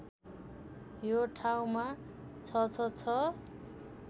यो ठाउँमा ६६६